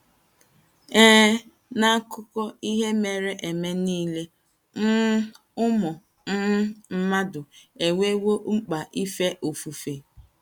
Ee, n’akụkọ ihe mere eme nile, um ụmụ um mmadụ enwewo mkpa ife ofufe.